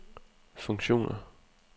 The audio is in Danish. funktioner